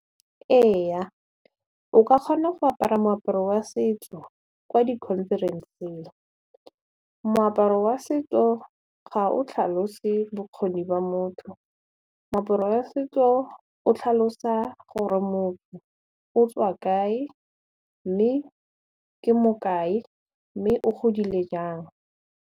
Ee o ka kgona go apara moaparo wa setso kwa di-conference-ng moaparo wa setso ga o tlhalose bokgoni ba mo motho. Moaparo wa setso o tlhalosa gore motho o tswa kae mme ke mo kae mme o godile jang.